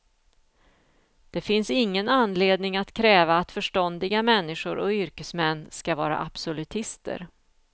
Det finns ingen anledning att kräva att förståndiga människor och yrkesmän ska vara absolutister.